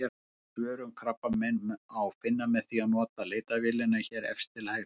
Fleiri svör um krabbamein má finna með því að nota leitarvélina hér efst til hægri.